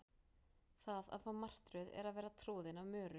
það að fá martröð er að vera troðin af möru